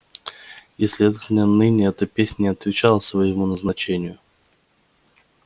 и следовательно ныне эта песня не отвечает своему назначению